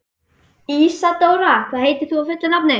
Ísadóra, hvað heitir þú fullu nafni?